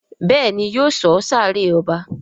Béèni yóò sọ sáré ọba.